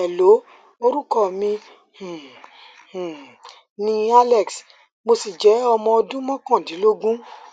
hello orúkọ mi um um ni alex mo sì jẹ ọmọ ọdún mọkàndínlógún